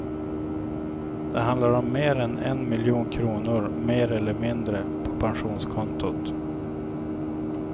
Det handlar om mer än en miljon kronor mer eller mindre på pensionskontot.